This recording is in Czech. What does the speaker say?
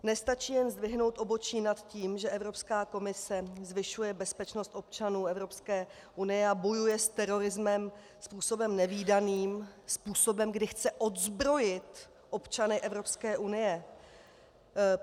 Nestačí jen zdvihnout obočí nad tím, že Evropská komise zvyšuje bezpečnost občanů Evropské unie a bojuje s terorismem způsobem nevídaným, způsobem, kdy chce odzbrojit občany Evropské unie.